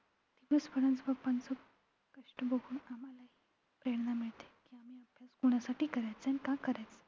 singing मध्ये खूप participate केलेत पण माझा first number सुद्धा आलेला.